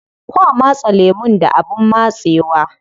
Kwa matse lemun da abin matsewa.